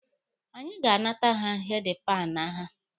Anyị ga-anata ha heedi panụ ha.